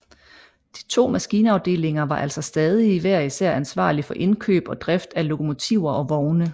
De to maskinafdelinger var altså stadig hver især ansvarlig for indkøb og drift af lokomotiver og vogne